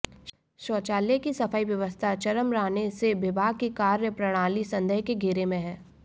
शौचालयों की सफाई व्यवस्था चरमराने से विभाग की कार्यप्रणाली संदेह के घेरे में हैं